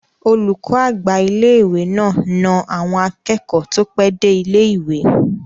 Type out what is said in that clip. Olùkọ́ àgbà ilé-ìwé náà na àwọn akẹ́kọ̀ọ́ tó pẹ́ dé ilé-ìwé